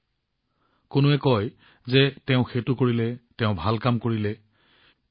কোনোবাই কয় যে তেওঁ এই কাম কৰিলে কোনোৱে কয় যে তেওঁ সেইটো কৰিলে তেওঁ ভাল কৰিলে এইটো আৰু ভাল কাম হল এইটো সুন্দৰ কাম কৰিলে